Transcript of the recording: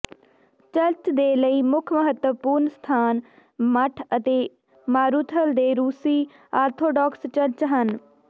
church ਦੇ ਲਈ ਮੁੱਖ ਮਹੱਤਵਪੂਰਨ ਸਥਾਨ ਮੱਠ ਅਤੇ ਮਾਰੂਥਲ ਦੇ ਰੂਸੀ ਆਰਥੋਡਾਕਸ ਚਰਚ ਹਨ